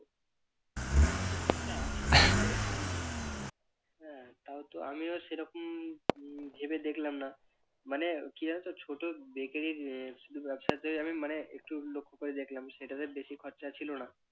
হ্যাঁ তাও তো আমিও সেরকম উহ ভেবে দেখলাম না মানে কি যেন তো ছোট bakery র উহ শুধু ব্যবসাতে আমি মানে একটু লক্ষ্য করে দেখলাম সেটা তো বেশি খরচা ছিল না